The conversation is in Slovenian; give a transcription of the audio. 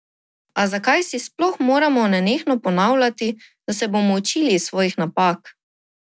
A zakaj si sploh moramo nenehno ponavljati, da se bomo učili iz svojih napak?